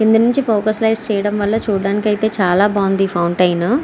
కింద నుంచి focus light చేయడం వల్ల చూడడానికి చాలా బాగుంది ఈ ఫౌంటైన .